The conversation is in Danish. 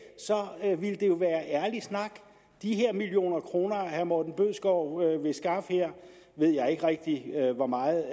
så ville det jo være ærlig snak de millioner kroner herre morten bødskov vil skaffe her ved jeg ikke rigtig hvor meget